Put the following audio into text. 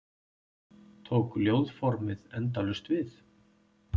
Tók ljóðformið endalaust við?